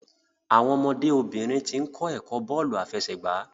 Àwọn ọmọdé obìnrin tín kò ẹkọ bóòlù afẹsẹgba